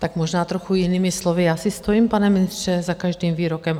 Tak možná trochu jinými slovy, já si stojím, pane ministře, za každým výrokem.